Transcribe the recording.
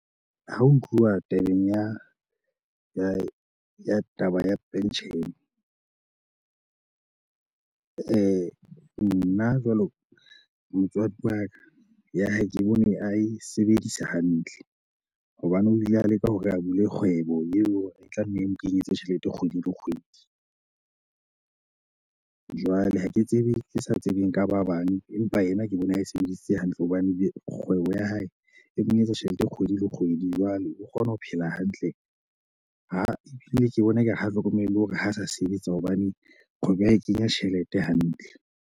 Ha ho tluwa tabeng ya ya taba ya pension, eh nna jwalo motswadi wa ka ya hae ke bone a e sebedisa hantle. Hobaneng o ile a leka hore a bule kgwebo eo e tlanne e mo kenyetse tjhelete kgwedi le kgwedi. Jwale ha ke tsebe ke sa tsebeng ka ba bang empa yena ke bona e sebedisitse hantle ho hobane kgwebo ya hae e mong etsa tjhelete kgwedi le kgwedi jwale o kgona ho phela hantle ha ebile ke bona ekare ha hlokomele hore ho sa sebetsa hobane kgwebo ya hae e kenya tjhelete hantle.